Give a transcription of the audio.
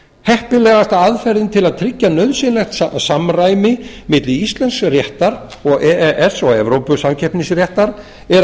heppilegasta aðferðin til að tryggja nauðsynlegt samræmi milli íslensks réttar og e e s og evrópusamkeppnisréttar er að